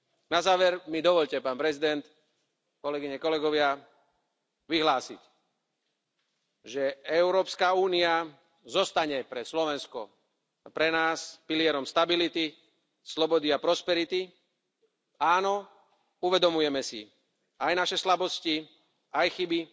Na záver mi dovoľte, pán predseda, kolegyne, kolegovia, vyhlásiť, že Európska únia zostane pre Slovensko, pre nás, pilierom stability, slobody a prosperity. Áno, uvedomujem si aj naše slabosti aj chyby,